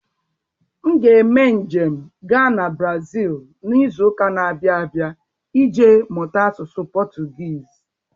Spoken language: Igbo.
M ga-eme njem gaa na Brazil n'izu ụka na-abịa abịa ije mụta asụsụ Potugiiz.